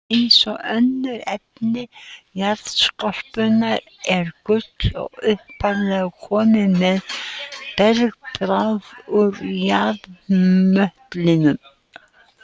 Eins og önnur efni jarðskorpunnar er gull upphaflega komið með bergbráð úr jarðmöttlinum.